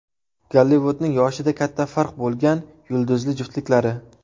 Gollivudning yoshida katta farq bo‘lgan yulduzli juftliklari .